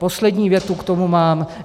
Poslední větu k tomu mám.